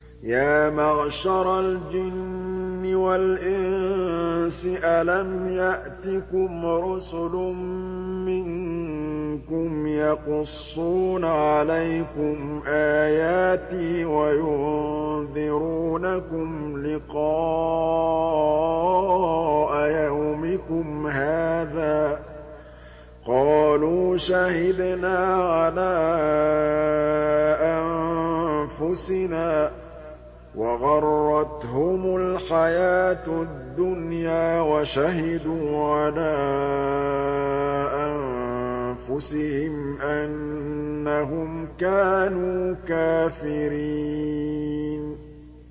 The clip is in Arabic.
يَا مَعْشَرَ الْجِنِّ وَالْإِنسِ أَلَمْ يَأْتِكُمْ رُسُلٌ مِّنكُمْ يَقُصُّونَ عَلَيْكُمْ آيَاتِي وَيُنذِرُونَكُمْ لِقَاءَ يَوْمِكُمْ هَٰذَا ۚ قَالُوا شَهِدْنَا عَلَىٰ أَنفُسِنَا ۖ وَغَرَّتْهُمُ الْحَيَاةُ الدُّنْيَا وَشَهِدُوا عَلَىٰ أَنفُسِهِمْ أَنَّهُمْ كَانُوا كَافِرِينَ